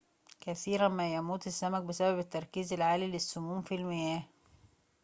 كثيراً ما يموت السمك بسبب التركز العالي للسموم في المياه